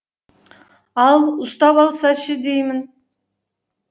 ал ұстап алса ше деймін